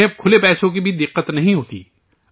انہیں اب کھلے پیسوں کی بھی دقت نہیں ہوتی